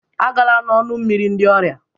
Agala n'ọnụ mmiri ndị ọrịa